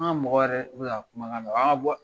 An ka mɔgɔ yɛrɛ bɛ ka kumakan mɛn, an ka bɔ